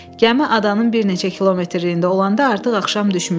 Gəmi adanın bir neçə kilometrliyində olanda artıq axşam düşmüşdü.